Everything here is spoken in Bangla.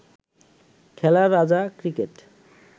খেলার রাজা ক্রিকেট